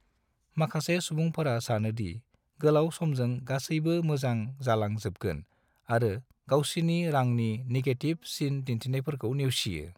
माखासे सुबुंफोरा सानोदि गोलाव समजों गासैबो मोजां जालां जोबगोन आरो गावसिनि रांनि निगेथिव सिन दिन्थिनायफोरखौ नेवसियो।